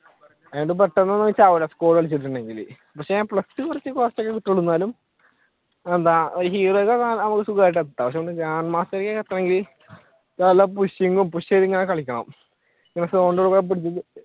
അതുകൊണ്ട് പെട്ടെന്നു ഒന്നും ചാവൂല, squad കളിച്ചിട്ടുണ്ടെങ്കിൽ പക്ഷെ എന്താ heroic ഒക്കെ സുഖമായിട്ട് എത്താം grandmaster എത്താണെങ്കി നല്ല pushing ഉം push ചെയ്തു ഇങ്ങനെ കളിക്കണം